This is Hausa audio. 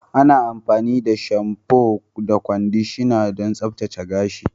Ana amfani da shamfu da kwandishana don tsaftace gashi.